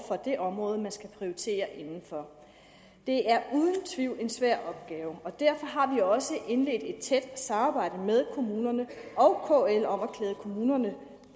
det område man skal prioritere inden for det er uden tvivl en svær opgave derfor har vi også indledt et tæt samarbejde med kommunerne og kl om at klæde kommunerne